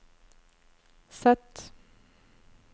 Z